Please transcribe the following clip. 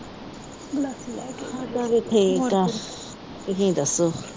ਮੈਂ ਤਾਂ ਠੀਕ ਆ, ਤੁਸੀਂ ਦੱਸੋ।